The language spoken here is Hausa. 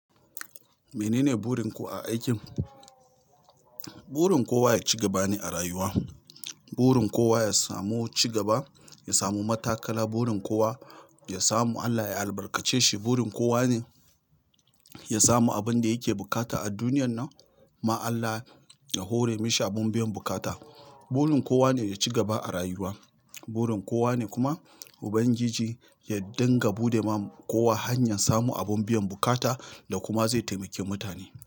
Menene burin ku a aikin? Burin kowa ya ci gaba ne a rayuwa. Burin kowa ya samu ci gaba, ya samu matakala. Burin kowa ya samu Allah ya albarkace shi. Burin kowa ne ya samu abin da yake bukata a duniyan nan. Ma Allah ya hore mashi abun biyan bukata. Burin kowa ne ya ci gaba a rayuwa. Burin kowa ne kuma Ubangiji ya dinga buɗe ma kowa hanyar samu abin biyan bukata da kuma zai taimaki mutane.